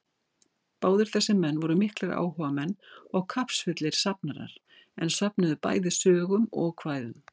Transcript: Báðir þessir menn voru miklir áhugamenn og kappsfullir safnarar, er söfnuðu bæði sögum og kvæðum.